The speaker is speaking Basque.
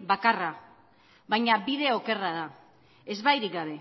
bakarra baina bide okerra da ezbairik gabe